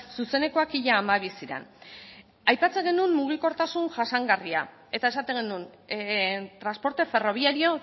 zuzenekoak ia hamabi ziren aipatzen genuen mugikortasun jasangarria eta esaten genuen transporte ferroviario